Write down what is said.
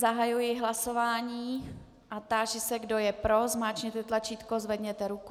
Zahajuji hlasování a táži se, kdo je pro, zmáčkněte tlačítko, zvedněte ruku.